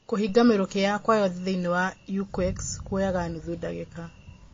Kũhinga mĩrũkĩ yakwa yothe thĩinĩ wa EQUEX kwoyaga nuthu dagĩka.